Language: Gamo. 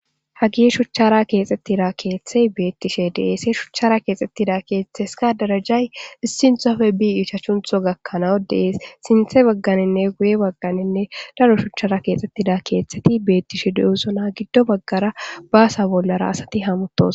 hagi shuchchara keexxettida keeththey beettishe deese shuchara keexxettida keeththes ka darajay issinthofe bi ichachuntho gakkanawo dees sinthe bagganinne guye bagganinne laro shuchara keexxettida keeththeti beettishe de7usona giddo baggara baasa bollara asati hamutos